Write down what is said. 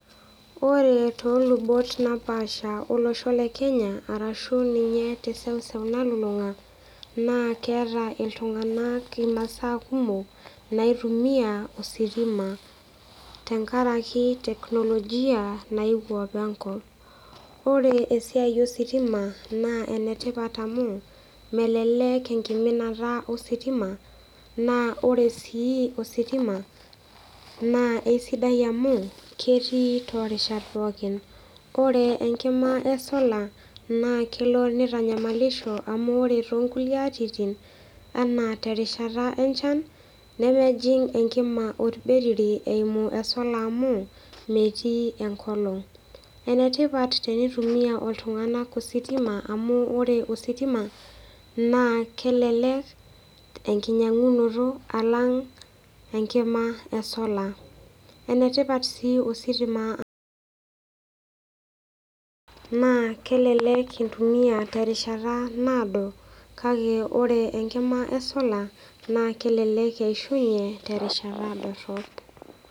Ore tolubot napaasha olosho lekenya arashu ninye teseuseu nalulunga na keeta ltunganak imasaa kumok naitumia ositima tenkaraki technology naewuo apa enkop ore esiai ositima na enetipat oleng amu eminata ositima na ore si ositima na ketii torishat pookin ore enkima esolo na kelo nitanyamalishobamu ore tonkulie atitin na terishata enchan na mejing enkima orbetiri amu metii enkolong, enetipat enitumia ana ositima amu ore ositima na kelelek enkinyangunoto alang enkima esolar enetipat si ostima amu kelelek intumia terishata naado kake ore enkima esola na kelelek eishunye terishata dorop.